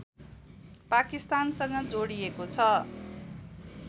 पाकिस्तानसँग जोडिएको छ